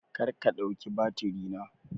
Karka ɗauki batiri na!